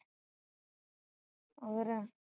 ਹੋਰ